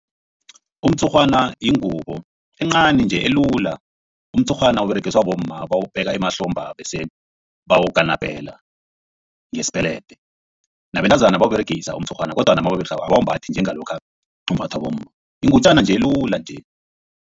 Umtshurhwana yingubo encani nje elula. Umtshurhwana uberegiswa bomma bawubeka emahlomba bese bawukanapela ngesipelede, nabentazana bawuberegisa umtshurhwana kodwana mabawuberegisako abawumbathi njengalokha umbathwa bomma yingutjana nje elula nje.